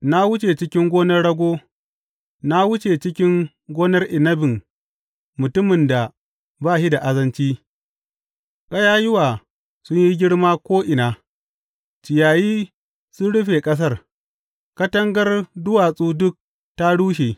Na wuce cikin gonar rago, na wuce cikin gonar inabin mutumin da ba shi da azanci; ƙayayyuwa sun yi girma ko’ina, ciyayi sun rufe ƙasar, katangar duwatsu duk ta rushe.